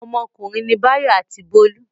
Ọmọkùnrin ni Báyọ̀ àti Bólú.